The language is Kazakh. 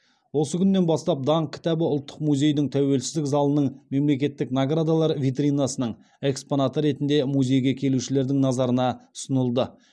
осы күннен бастап даңқ кітабы ұлттық музейдің тәуелсіздік залының мемлекеттік наградалар витринасының экспонаты ретінде музейге келушілердің назарына ұсынылды